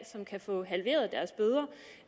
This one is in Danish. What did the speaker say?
som kan få halveret deres bøder